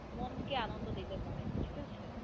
মনকে আনন্দ দিতে পারে, ঠিক আছে.